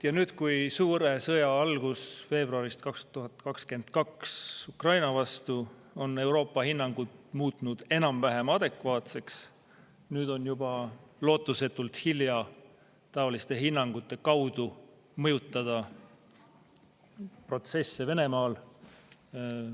Ja nüüd, kui veebruaris 2022 alanud suur sõda Ukraina vastu on Euroopa hinnangud muutnud enam-vähem adekvaatseks, on juba lootusetult hilja taoliste hinnangute kaudu mõjutada protsesse Venemaal.